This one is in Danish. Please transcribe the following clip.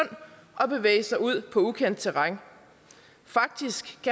at bevæge sig ud i ukendt terræn